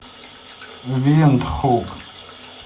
виндхук